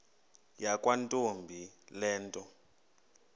yakwantombi le nto